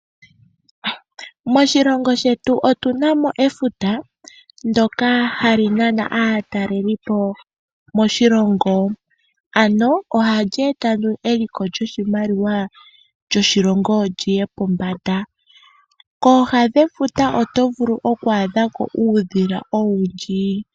Moshilongo shetu otunamo efuta ndoka hali nana aatalelipo moshilongo ano ohali eta eliko lyoshilongo lyoshilongo liye pombanda. Kooha dhefuta otovulu oku adhako uudhila owundji